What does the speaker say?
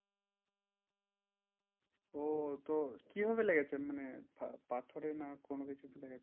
ওহ তো কিভাবে লেগেছে? মানে পা~পাথরে না কোনো কিছুতে লেগেছে